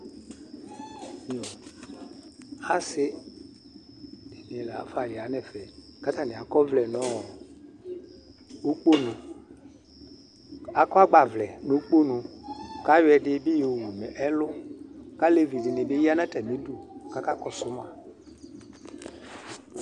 ase di ni lafa ya no ɛfɛ ko atani akɔ ɔvlɛ no ikponu akɔ agbavlɛ no ikponu ko ayɔ ɛdi bi yowu no ɛlo ko alevi di ni bi ya no atami du ko aka kɔso ma